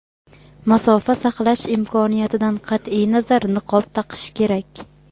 masofa saqlash imkoniyatidan qat’iy nazar niqob taqish kerak.